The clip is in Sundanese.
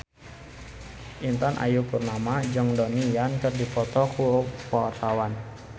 Intan Ayu Purnama jeung Donnie Yan keur dipoto ku wartawan